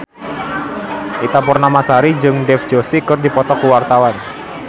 Ita Purnamasari jeung Dev Joshi keur dipoto ku wartawan